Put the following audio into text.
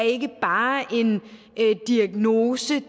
ikke bare er en diagnose